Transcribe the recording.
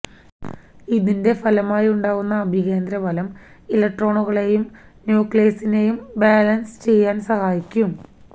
ഇതിന്െറ ഫലമായുണ്ടാകുന്ന അഭികേന്ദ്രബലം ഇലക്ട്രോണുകളെയും ന്യൂക്ളിയസിനെയും ബാലന്സ് ചെയ്യാന് സഹായിക്കും